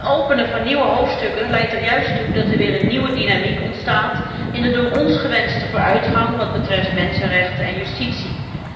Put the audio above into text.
Het openen van nieuwe hoofdstukken leidt er juist toe dat er weer een nieuwe dynamiek ontstaat in de door ons gewenste vooruitgang wat betreft mensenrechten en justitie.